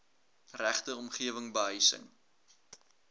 regte omgewing behuising